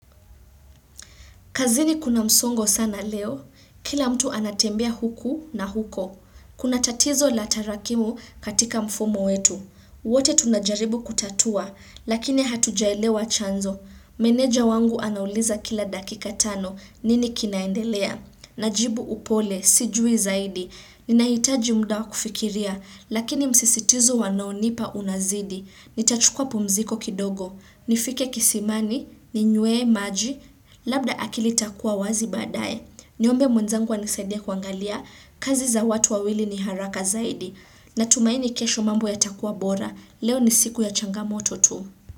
Kazini kuna msongo sana leo. Kila mtu anatembea huku na huko. Kuna tatizo la tarakimu katika mfumo wetu. Wote tunajaribu kutatua. Lakini hatujaelewa chanzo. Meneja wangu anauliza kila dakika tano. Nini kinaendelea. Najibu upole. Sijui zaidi. Ninahitaji muda wa kufikiria. Lakini msisitizo wanaonipa unazidi. Nitachukua pumziko kidogo, nifike kisimani, ninywe maji, labda akili itakua wazi baadaye. Niombe mwenzangu anisaidie kuangalia, kazi za watu wawili ni haraka zaidi. Natumaini kesho mambo yatakua bora, leo ni siku ya changamoto tu.